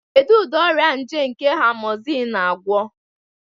Kedu ụdị ọrịa nje nke Amozinu na-agwọ?